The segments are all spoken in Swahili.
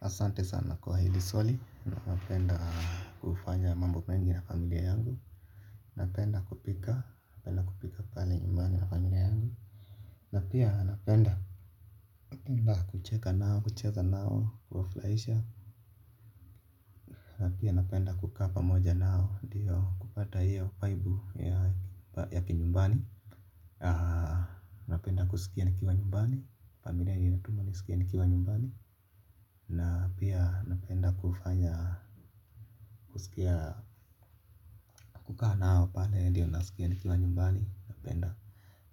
Asante sana kwa hili swali na napenda kufanya mambo mengi na familia yangu napenda kupika napenda kupika pale nyumani na familia yangu na pia napenda napenda kucheka nao kucheza nao kuwafurahisha na pia napenda kukaa pamoja nao ndio kupata hiyo uvaibu ya kinyumbani napenda kusikia nikiwa nyumbani familia inatuma nisikie nikiwa nyumbani na pia napenda kufanya husikia kukaa nao pale ndio nisikia nikiwa nyumbani napenda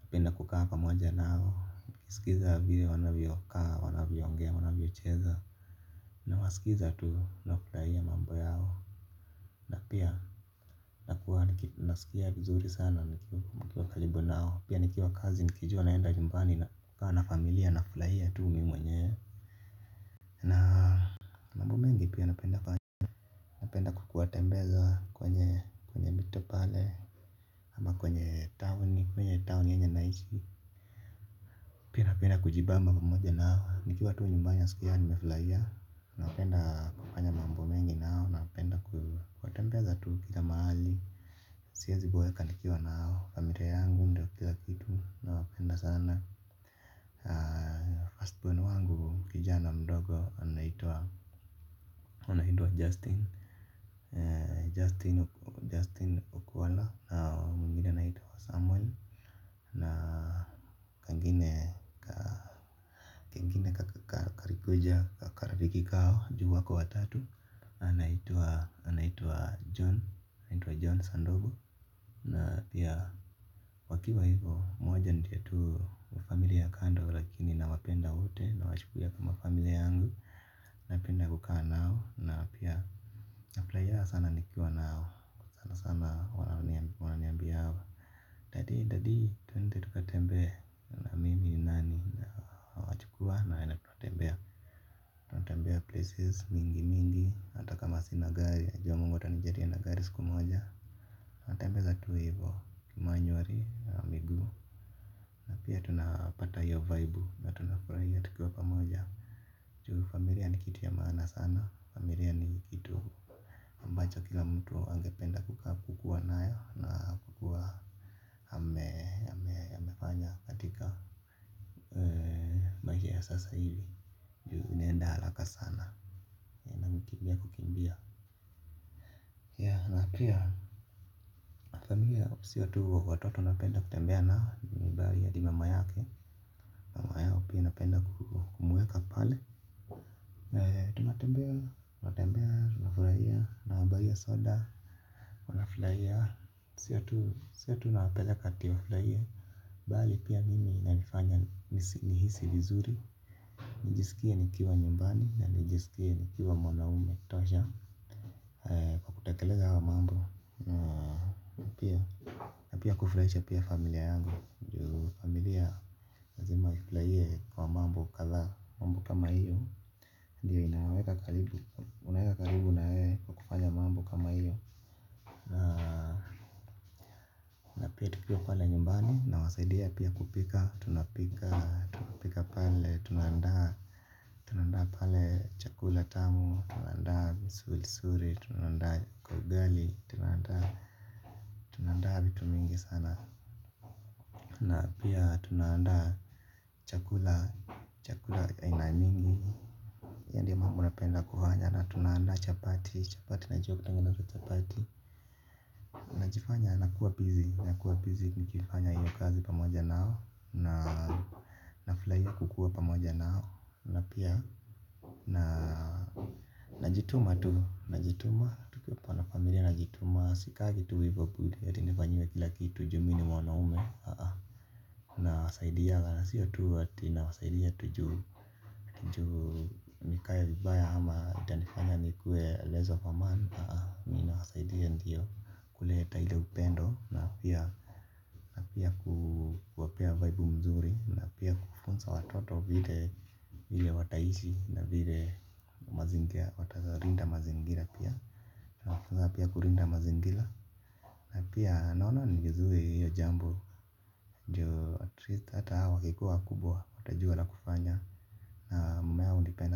napenda kukaa pamoja nao nikiskiza hivyo wanavyo kaa wanavyo ongea wanavyo cheza nawasikiza tu nukufurahia mambo yao na pia nakuwa nisikia vizuri sana nikiwa karibu nao pia nikiwa kazi nikijua naenda nyumbani na kukaa na familia nafurahia tu mi mwenyewe mambo mengi pia napenda kuwatembeza kwenye mito pale ama kwenye town yenye naishi pia napenda kujibamba tu pamoja nao, nikiwa tu nyumbani naskianga tu nimefurahia na napenda kufanya mambo mengi nao, anapenda kuwatembeza tu kila mahali, siwezi boeka nikiwa nao, familia yangu ndo kila kitu, nawapenda sana firstborn wangu kijana mdogo, anaitwa, anaitwa Justin, Justin Okwala, na mwingine anaitwa Samuel, na kagine kaa, kalikuja karafiki hkao, juu wako watatu anaitwa anaitwa John anaitwa John Sandobu Na pia wakiwa hivo. Mmoja ndio tu wa familia ya kando. Lakini nawapenda wote. Nawachukulia kama familia yangu. Napenda kukaa nao na pia nafutahia sana nikiwa nao. Sanasana wananiambianga Daddy daddy twende tuka tembee. Ni nani na nawachukua na tunatembea. Natembea places mingi mingi hata kama sina gari najua mungu atanijalia na gari siku moja. Natembeza tu hivyo manywali ya miguu na pia tunapata hiyo vaibu na tunafurahia tukiwa pamoja. Juu familia ni kitu ya maana sana familia ni kitu ambacha kila mtu angependa kukuwa na ya na kuwa ame amefanya katika maisha ya sasa hivi ya sasa hivi juu inenda haraka sana na inakimbia kukimbia. Sio tu watoto tu napenda kutembea nao bali hadi mama yake. Mama yao pia napenda kumuweka pale. Furahia nawabuyia soda wanafurahia sio tu napeleka ati wafurahie bali pia mimi inanifanya ni hisi vizuri. Nijisikie nikiwa nyumbani na nijisikie nikiwa mwanaume tosha kwa kutekeleza haya mambo na pia kufurahisha familia yangu juu familia lazima ifurahie kwa mambo kadhaa mambo kama hio ndio inawaweka karibu unawaweka karibu na wewe kwa kufanya mambo kama hio na pia tukiwa pale nyumbani nawasaidia pia kupika tunapika pale tuna andaa tuna andaa pale chakula tamu tuna andaa vizuri tunaandaa ka ugali tuna andaa vitu mingi sana na pia tuna andaa chakula chakula aina nyingi yenye mimi napenda kufanya na tuna andaa chapati chapati najua kutengeneza najifanya nakua busy nakua busy pamoja nao na pia nafurahia kukaa nao na pia najituma najituma tu eti hivo tu eti tu nifanyiwe kila kitu ju mimi ni mwanaume aah aah. Nawasaidia na sio tu ati nawasaidia tu ju ju nikae vibaya ama itanifanya nikue less of a man nina wanisaidia ndio kuleta ile upendo. Ndio na pia kuwapea vaibu mzuri na pia kufunza watoto vile wataishi na vile watalinda mazingira pia nawafunza pia kulinda mazingira na pia naonanga ni vizuri hio jambo ndio at least ata hao wakikuwa wakubwa watajua la kufanya na mama yao hunipenda.